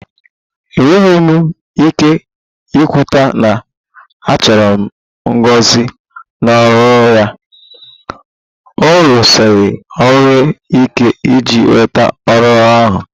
Enweghị m ike ikweta na a chụrụ Ngozi n'ọrụ ya, ọ rụsiri ọrụ ike iji nweta ọrụ ahụ